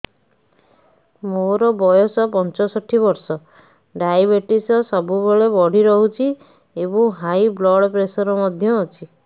ମୋର ବୟସ ପଞ୍ଚଷଠି ବର୍ଷ ଡାଏବେଟିସ ସବୁବେଳେ ବଢି ରହୁଛି ଏବଂ ହାଇ ବ୍ଲଡ଼ ପ୍ରେସର ମଧ୍ୟ ଅଛି